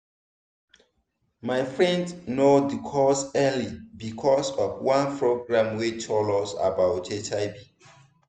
my friend know the cause early because of one program wey tell us about hiv.